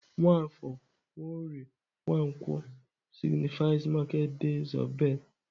Nwafor, Nworie, Nwankwo signifies market days of birth.